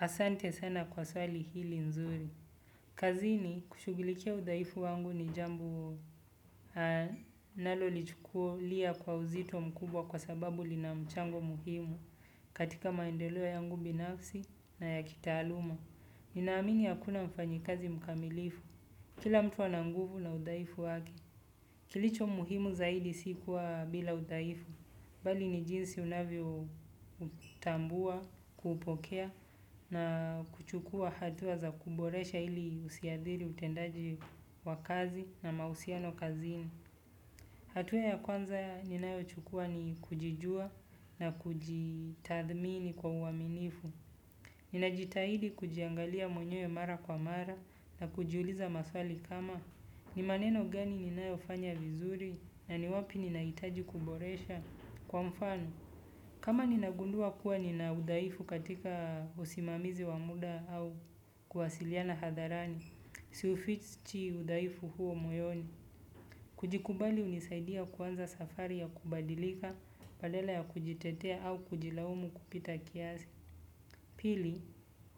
Asante sana kwa swali hili nzuri. Kazini, kushugulikia udhaifu wangu ni jambo nalolichukulia kwa uzito mkubwa kwa sababu lina mchango muhimu katika maendeleo yangu binafsi na ya kitaaluma. Ninaamini akuna mfanyikazi mkamilifu. Kila mtu ananguvu na udhaifu wake, kilicho muhimu zaidi si kuwa bila udhaifu. Bali ni jinsi unavyo tambua kuupokea na kuchukua hatua za kuboresha ili usiadhiri utendaji wa kazi na mahusiano kazini hatua ya kwanza ninayochukua ni kujijua na kujitadhmini kwa uaminifu. Ninajitahidi kujiangalia mwenye mara kwa mara na kujiuliza maswali kama. Ni maneno gani ninayofanya vizuri na ni wapi ninaitaji kuboresha kwa mfano. Kama ninagundua kuwa nina udhaifu katika usimamizi wa muda au kuwasiliana hadharani. Si ufichi udhaifu huo moyoni. Kujikubali unisaidia kuanza safari ya kubadilika, palele ya kujitetea au kujilaumu kupita kiasi. Pili,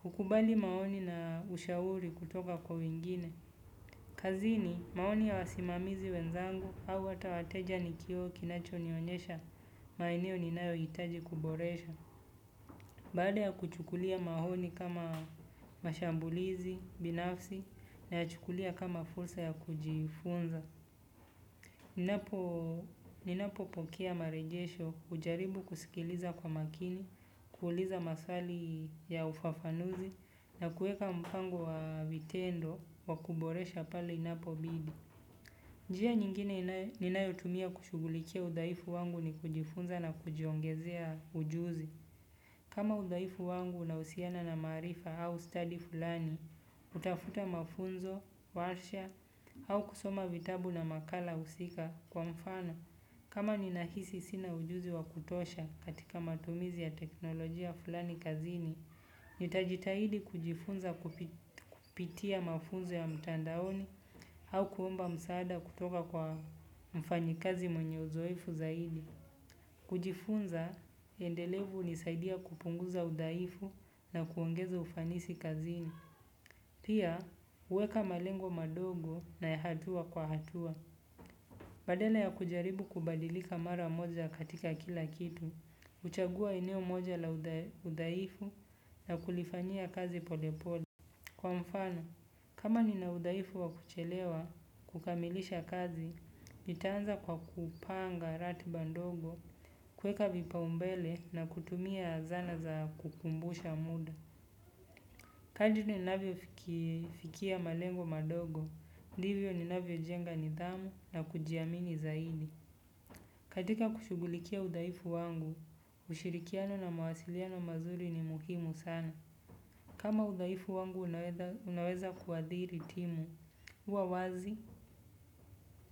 hukubali maoni na ushauri kutoka kwa wengine. Kazini maoni ya wasimamizi wenzangu hau ata wateja ni kioo kinachonionesha maeneo ninayo itaji kuboresha. Baada ya kuchukulia mahoni kama mashambulizi, binafsi nayachukulia kama fulsa ya kujifunza. Ninapo pokea marejesho hujaribu kusikiliza kwa makini, kuuliza maswali ya ufafanuzi na kueka mpango wa vitendo wakuboresha pale inapo bidi. Njia nyingine ninayo tumia kushugulikia udhaifu wangu ni kujifunza na kujiongezea ujuzi. Kama udhaifu wangu unausiana na maarifa au study fulani, hutafuta mafunzo, warsha, au kusoma vitabu na makala usika kwa mfano. Kama ninahisi sina ujuzi wa kutosha katika matumizi ya teknolojia fulani kazini, nitajitahidi kujifunza kupitia mafunzo ya mtandaoni hau kuomba msaada kutoka kwa mfanyikazi mwenye uzoefu zaidi. Kujifunza, endelevu unisaidia kupunguza udhaifu na kuongeza ufanisi kazini. Pia huweka malengo madogo na ya hatua kwa hatua. Badale ya kujaribu kubadilika mara moja katika kila kitu, uchagua eneo moja la udhaifu na kulifanyia kazi polepole. Kwa mfano, kama nina udhaifu wa kuchelewa kukamilisha kazi, nitaanza kwa kupanga ratiba ndogo, kueka vipaumbele na kutumia zana za kukumbusha muda. Kadi ni navio fikia malengo madogo, divyo ni navyo jenga nidhamu na kujiamini zaidi. Katika kushugulikia udhaifu wangu, ushirikiano na mawasiliano mazuri ni muhimu sana. Kama udhaifu wangu unaweza kuadhiri timu, huwa wazi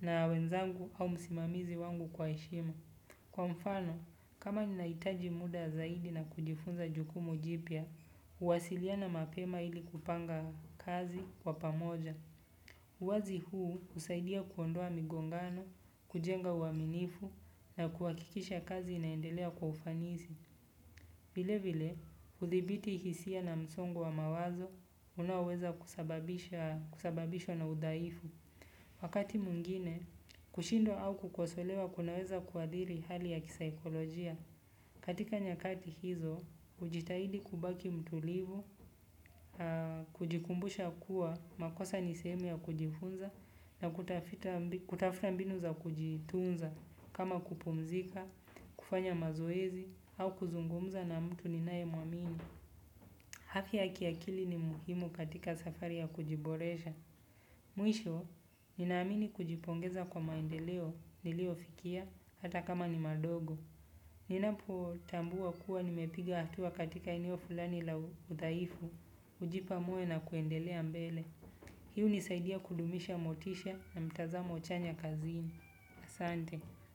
na wenzangu au msimamizi wangu kwa eshima. Kwa mfano, kama ninaitaji muda zaidi na kujifunza jukumu jipya, huwasiliana mapema ili kupanga kazi kwa pamoja. Uwazi huu husaidia kuondoa migongano, kujenga uaminifu na kuwakikisha kazi inaendelea kwa ufanisi. Vile vile hudhibiti hisia na msongo wa mawazo unao weza kusababishwa na udhaifu. Wakati mwingine, kushindwa au kukwasolewa kunaweza kuadhiri hali ya kisaikolojia. Katika nyakati hizo, ujitahidi kubaki mtulivu, kujikumbusha kuwa makosa niseemu ya kujifunza na kutafta mbinu za kujitunza kama kupumzika, kufanya mazoezi au kuzungumza na mtu ninae mwamini. Hafya ya kiakili ni muhimu katika safari ya kujiboresha. Mwisho, ninaamini kujipongeza kwa maendeleo nilio fikia hata kama ni madogo. Ninapo tambua kuwa nimepiga hatua katika eneo fulani la udhaifu. Ujipa moyo na kwendelea mbele. Hi unisaidia kudumisha motisha na mtazamo chanya kazini. Asante.